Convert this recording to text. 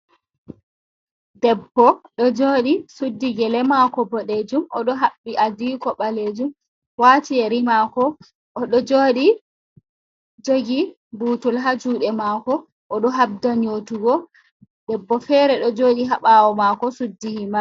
Debbo ɗo jooɗi, suddi gele maako boɗeejum. Oɗo haɓɓi adiiko ɓaleejum, waati yeri maako, oɗo jooɗi jogi buutol haa juuɗe maako, oɗo haɓda nyootugo. Debbo feere ɗo jooɗi haa ɓaawo maako suddi himar.